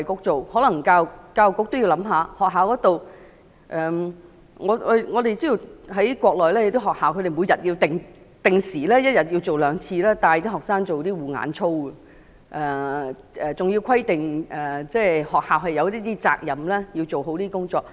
在學校方面，我們知道內地的學校每天也會定時兩次帶領學生做護眼操，還規定學校有責任要做好這些工作。